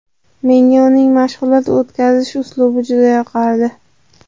Menga uning mashg‘ulot o‘tkazish uslubi juda yoqardi.